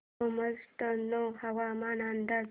सोमाटणे हवामान अंदाज